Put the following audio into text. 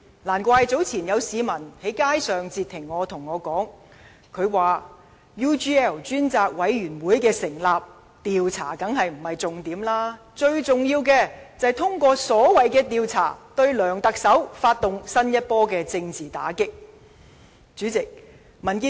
難怪早前有市民在街上截停我，對我說："成立 UGL 專責委員會，調查當然不是重點，最重要的是通過所謂'調查'，對梁特首發動新一波政治打擊"。